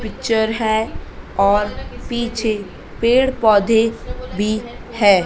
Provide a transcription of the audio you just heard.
Picture हैं और पीछे पेड़ पौधे भी हैं।